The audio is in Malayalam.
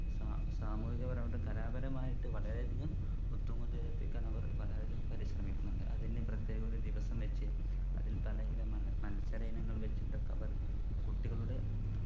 സാ സാമൂഹികപരമായിട്ടും കലാപരമായിട്ട് വളരെ വളരെയധികം എത്തിക്കാൻ അവർ വളരെയധികം പരിശ്രമിക്കുന്നുണ്ട് അതിനു പ്രത്യേക ഒരു ദിവസം വച്ച് അതിൽ പലയിനം മ മത്സരയിനങ്ങൾ വച്ചിട്ടൊക്കെ അവർ കുട്ടികളുടെ